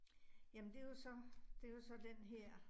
Ja, men det jo så, det jo så denne her